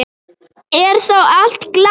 Er þá allt glatað?